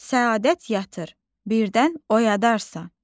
Səadət yatır, birdən oyadarsan.